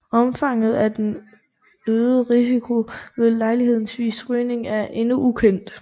Omfanget af den øgede risiko ved lejlighedsvis rygning er endnu ukendt